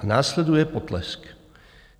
A následuje potlesk.